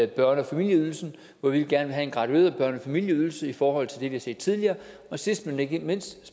børnefamilieydelsen hvor vi gerne vil have en gradueret børnefamilieydelse i forhold til det vi har set tidligere sidst men ikke mindst